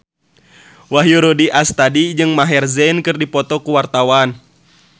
Wahyu Rudi Astadi jeung Maher Zein keur dipoto ku wartawan